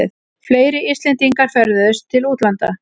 Fleiri Íslendingar ferðuðust til útlanda